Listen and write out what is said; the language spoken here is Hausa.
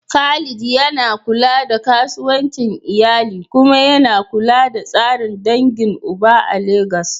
Khalid yana kula da kasuwancin iyali kuma yana kula da tsarin dangin uba a Legas.